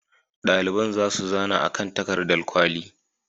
Ɗaliban za su zana a kan takardar kwali.